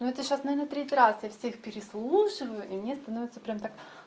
ну это сейчас наверно третий раз я всех переслушиваю и мне становится прямо так